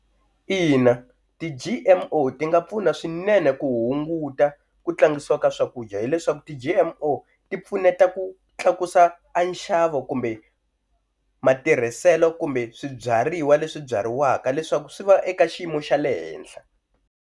Ina ti-G_M_O ti nga pfuna swinene ku hunguta ku tlangisiwa ka swakudya hileswaku ti-G_M_O ti pfuneta ku tlakusa a nxavo kumbe matirhiselo kumbe swibyariwa leswi byariwaka leswaku swi va eka xiyimo xa le henhla.